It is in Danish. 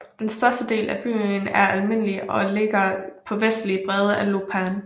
Den største del af byen er almindelig og ligger på venstre bred af Lopan